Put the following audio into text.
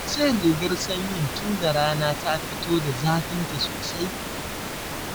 Ka cire rigar sanyin tunda rana ta fito da zafinta sosai